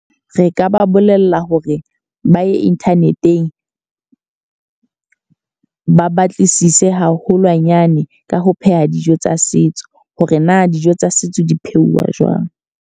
Re ka ba bolella hore ba ye internet-eng. Ba batlisise haholwanyane ka ho pheha dijo tsa setso. Hore na dijo tsa setso di pheuwa jwang.